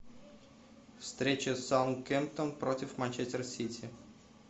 встреча саутгемптон против манчестер сити